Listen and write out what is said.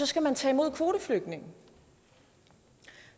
skal man tage imod kvoteflygtninge